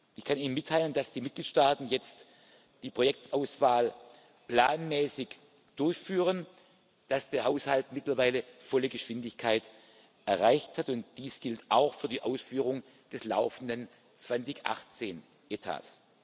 Ich kann Ihnen mitteilen, dass die Mitgliedstaaten jetzt die Projektauswahl planmäßig durchführen, dass der Haushalt mittlerweile volle Geschwindigkeit erreicht hat, und dies gilt auch für die Ausführung des laufenden Etats